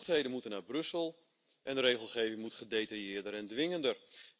De bevoegdheden moeten naar Brussel en de regelgeving moet gedetailleerder en dwingender.